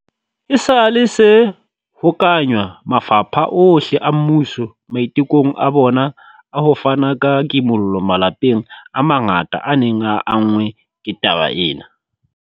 esale se hokahanywa mafapha ohle a mmuso maitekong a bona a ho fana ka kimollo malapeng a mangata a neng a anngwe ke taba ena.